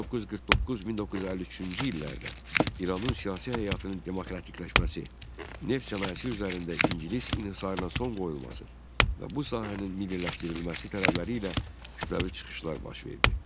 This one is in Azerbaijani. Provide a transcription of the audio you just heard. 1949-1953-cü illərdə İranın siyasi həyatının demokratikləşməsi, neft sənayesi üzərində ingilis inhisarına son qoyulması və bu sahənin milliləşdirilməsi tələbləri ilə kütləvi çıxışlar baş verdi.